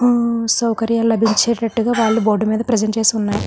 ఆహ్ సౌకర్యాలు లబించే తట్టు గ వాళ్ళ బోర్డు మేధా ప్రెసెంట్ చేస్తూ వున్నారు.